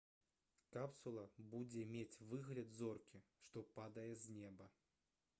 капсула будзе мець выгляд зоркі што падае з неба